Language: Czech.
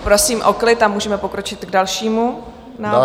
Prosím o klid a můžeme pokročit k dalšímu návrhu.